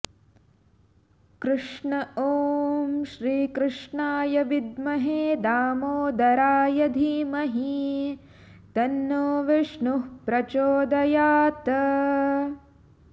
कृष्ण ॐ श्रीकृष्णाय विद्महे दामोदराय धीमहि तन्नो विष्णुः प्रचोदयात्